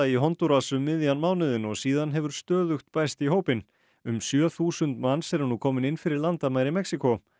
í Hondúras um miðjan mánuðinn og síðan hefur stöðugt bæst í hópinn um sjö þúsund manns eru nú komin inn fyrir landamæri Mexíkó